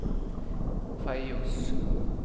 Feios